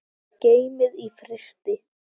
Geymið í frysti.